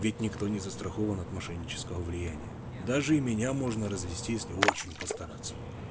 ведь никто не застрахован от мошеннического влияния даже и меня можно развести если очень постараться